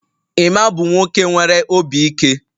Emma bụ nwoke nwere obi ike